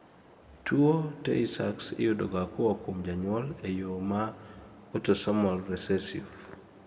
tuwo tay sachs iyudoga koa kuom janyuol e yoo ma autosomal recessive